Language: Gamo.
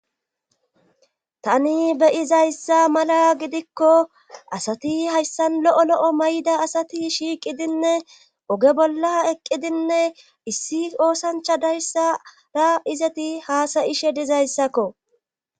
tani beyizayssa mala gidikko asati hayssan lo7o lo7o mayda asati shiiqidinne oge bolla eqqidinne issi oosancha dayssara izati haasayishe dizayssakko